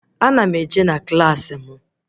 Ana m eje na Klassị m